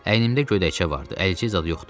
Əynimdə gödəkcə vardı, əlcək zad yoxdu.